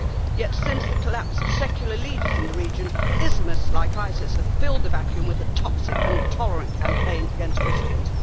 Yet since the collapse of secular leaders in the region, Islamists like ISIS have filled the vacuum with a toxic and intolerant campaign against Christians.